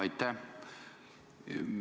Aitäh!